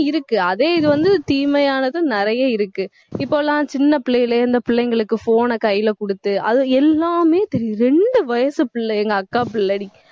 நல்லதும் இருக்கு அதே இது வந்து, தீமையானதும் நிறைய இருக்கு இப்ப எல்லாம் சின்ன பிள்ளையிலே இந்த பிள்ளைங்களுக்கு phone ன கையிலே கொடுத்து அது எல்லாமே தெரியுது ரெண்டு வயசு பிள்ளை எங்க அக்கா பிள்ளை டி